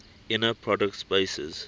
inner product spaces